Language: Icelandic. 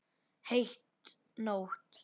Heit nótt.